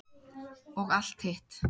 Og allt hitt.